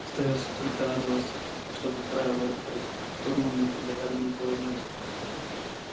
остаётся только радоваться что как правило это происходит в тот момент когда рядом никого нет